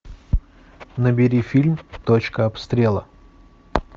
набери фильм точка обстрела